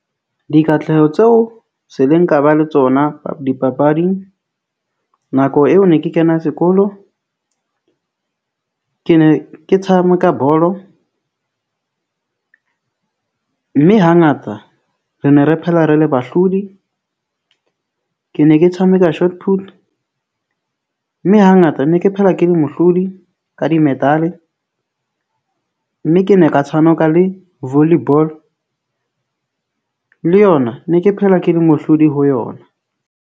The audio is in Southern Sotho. Dikatleho tseo se leng ka ba le tsona dipapading nako eo ne ke kena sekolo. Ke ne ke tshameka bolo mme hangata re ne re phela re le bahlodi . Ke ne ke tshameka . Mme ha ngata ne ke phela ke le mohlodi ka di-medal-e mme ke ne ka tshameka le volley ball le yona ne ke phela ke le mohlodi ho yona.